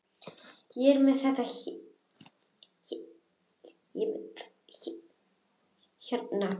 Ég er með þetta hérna.